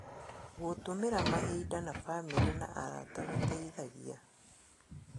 Gũtũmĩra mahinda na bamĩrĩ na arata gũteithagia